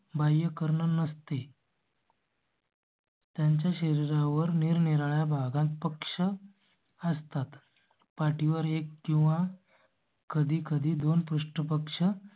बाह्यकर्ण नसते . त्यांच्या शरीरावर निरनिराळ्या भागांत पक्ष असतात. पाठीवर एक किंवा. कधी कधी दोन पृष्ठ पक्ष